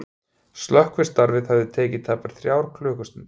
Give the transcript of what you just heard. Slökkvistarfið hafi tekið tæpar þrjár klukkustundir